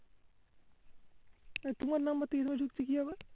এই তোমার number টা এখানে ঢুকছে কিভাবে